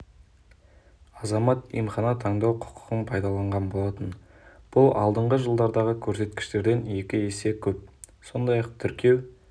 азамат емхана таңдау құқығын пайдаланған болатын бұл алдыңғы жылдардағы көрсеткіштерден екі есе көп сондай-ақ тіркеу